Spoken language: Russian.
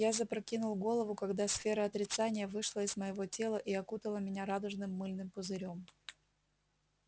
я запрокинул голову когда сфера отрицания вышла из моего тела и окутала меня радужным мыльным пузырём